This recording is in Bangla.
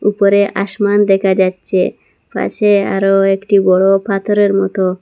উপরে আসমান দেখা যাচ্চে পাশে আরও একটি বড় পাথরের মতো।